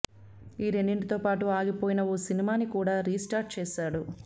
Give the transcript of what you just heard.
ఈ రెండింటితో పాటు ఆగిపోయిన ఓ సినిమాని కూడా రీస్టార్ట్ చేశాడు